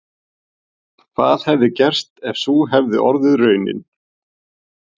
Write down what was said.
Hvað hefði gerst ef sú hefði orðið raunin?